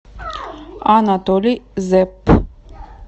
анатолий зеп